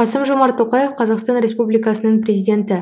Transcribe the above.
қасым жомарт тоқаев қазақстан республикасының президенті